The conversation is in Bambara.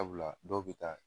Sabula dɔw bi taa